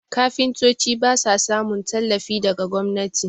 kafintoci ba sa samun tallafi daga gwamnati